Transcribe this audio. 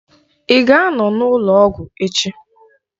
Ị ga anọ n'ụlọ ọgwụ echi?